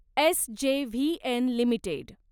SJVN limited